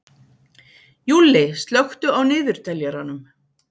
Júlli, slökktu á niðurteljaranum.